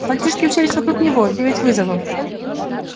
мальчики уселись вокруг него девять вызовов